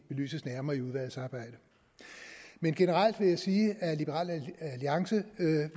belyses nærmere i udvalgsarbejdet men generelt vil jeg sige at liberal alliance